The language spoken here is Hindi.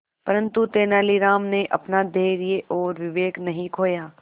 परंतु तेलानी राम ने अपना धैर्य और विवेक नहीं खोया